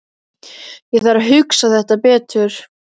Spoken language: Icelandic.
Ég þarf að hugsa þetta betur.